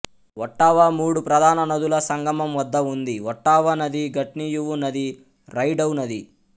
Ottawa మూడు ప్రధాన నదుల సంగమం వద్ద ఉంది ఒట్టావా నది గట్నియువు నది రైడౌ నది